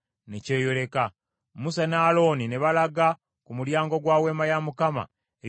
Musa ne Alooni ne balaga ku mulyango gwa Weema ey’Okukuŋŋaanirangamu,